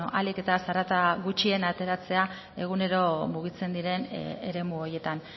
ahalik eta zarata gutxien ateratzea egunero mugitzen diren eremu horietan